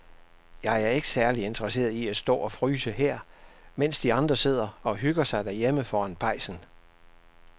Jeg er ikke særlig interesseret i at stå og fryse her, mens de andre sidder og hygger sig derhjemme foran pejsen.